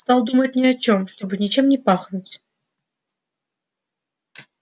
стал думать ни о чем чтобы ничем не пахнуть